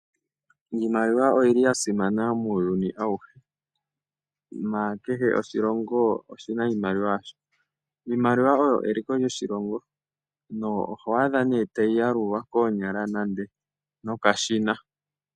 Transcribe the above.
Iimaliwa oyi li ya simana muuyuni awuhe, nakehe oshilongo oshi na iimaliwa yasho. Iimaliwa oyo eliko lyoshilongo, na oho adha nee tayi yalulwa noonyala, nenge nokashina.